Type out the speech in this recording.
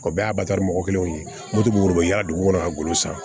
O bɛɛ y'a batali mɔgɔ kelenw ye mototigiw bɛ yaala dugu kɔnɔ ka golo san